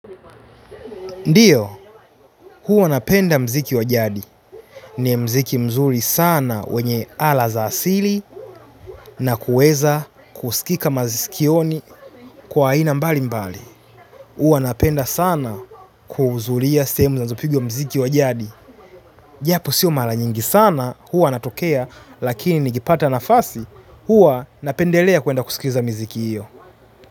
Ndiyo, huwa napenda mziki wa jadi. Ni mziki mzuri sana wenye ala za asili. Na kueza kuskika maskioni kwa aina mbali mbali. Huwa napenda sana kuuzulia sehemu zinazopigwa mziki wa jadi. Japo siyo mala nyingi sana huwa natokea lakini nikipata nafasi huwa napendelea kuenda kuskiza mziki iyo.